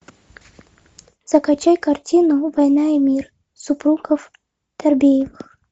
закачай картину война и мир супругов торбеевых